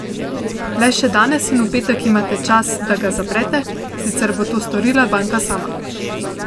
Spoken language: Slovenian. Le še danes in v petek imate čas, da ga zaprete, sicer bo to storila banka sama.